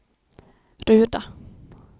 Ruda